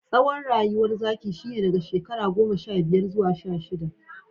Tsawon rayuwar zaki shine daga shekara goma sha biyar zuwa sha shidda.